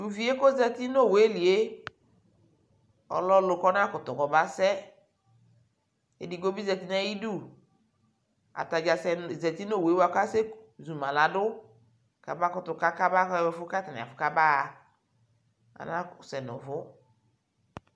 Tu vie kozati nu owue lie, ɔlɛ ɔlu kɔna kutu kɔbasɛ Edigbo bi zati nayiɗu Ataɗza sɛ nu zati nu owue bua se zuma laɗu kaba kutu ka kaba ɣa kaba sɛ nuvu